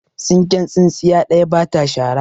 Tsinken tsintsiya ɗaya ba ta shara.